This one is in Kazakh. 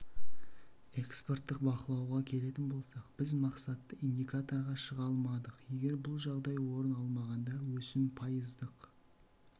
экспорттық бақалауға келетін болсақ біз мақсатты индикаторға шыға алмадық егер бұл жағдай орын алмағанда өсім пайыздық